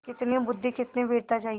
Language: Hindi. कितनी बुद्वि कितनी वीरता चाहिए